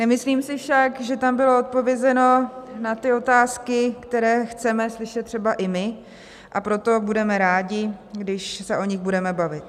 Nemyslím si však, že tam bylo odpovězeno na ty otázky, které chceme slyšet třeba i my, a proto budeme rádi, když se o nich budeme bavit.